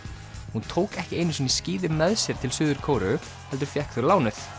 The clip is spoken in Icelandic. hún tók ekki einu sinni skíði með sér til Suður Kóreu heldur fékk þau lánuð